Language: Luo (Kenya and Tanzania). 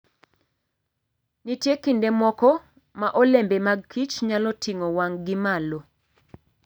Nitie kinde moko ma olembe mag kichnyalo ting'o wang'gi malo.